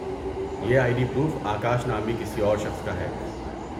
یہ I D proof Akash نامی کسی اور شخص کا ہے۔